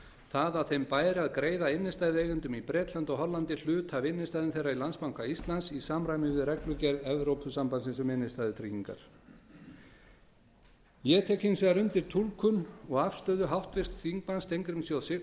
það að þeim bæri að greiða innstæðueigendum í bretlandi og hollandi hluta af innstæðu þeirra í landsbanka íslands í samræmi við reglugerð evrópusambandsins um innstæðutryggingar ég tek hins vegar undir túlkun og afstöðu háttvirts þingmanns steingríms